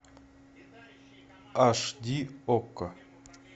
аш ди окко